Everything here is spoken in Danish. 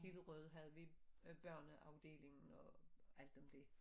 Hillerød havde vi børneafdelingen og alt om dét